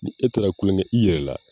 Ni e taara kolonkɛ i yɛrɛ la